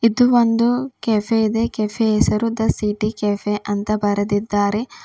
ಒಂದು ಕೆಫೆ ಇದೆ ಕೆಫೆ ಯ ಹೆಸರು ದ ಸಿಟಿ ಕೆಫೆ ಅಂತ ಬರೆದಿದ್ದಾರೆ.